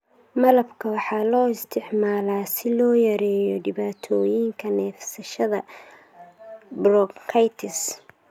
Malabka waxaa loo isticmaalaa si loo yareeyo dhibaatooyinka neefsashada (bronchitis).